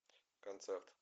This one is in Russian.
концерт